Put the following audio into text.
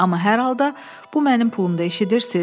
Amma hər halda bu mənim pulumdur, eşidirsiz?